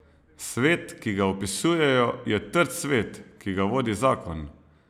Svet, ki ga opisujejo, je trd svet, ki ga vodi zakon.